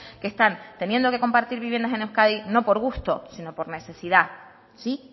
que están teniendo que compartir viviendas en euskadi no por gusto sino por necesidad sí